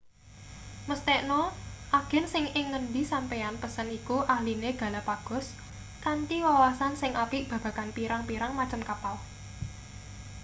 mesthekna agen sing ing ngendi sampeyan pesen iku ahline galapagos kanthi wawasan sing apik babagan pirang-pirang macem kapal